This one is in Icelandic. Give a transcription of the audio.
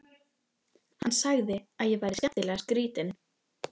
Sagði að ég væri skemmtilega skrýtin.